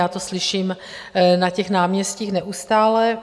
Já to slyším na těch náměstích neustále.